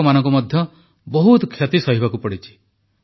କୃଷକମାନଙ୍କୁ ମଧ୍ୟ ବହୁତ କ୍ଷତି ସହିବାକୁ ପଡ଼ିଛି